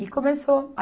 E começou.